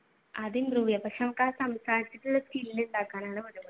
അതുണ്ട് പക്ഷെ സംസാരത്തിനുള്ള skill ഉണ്ടാക്കാനാണ്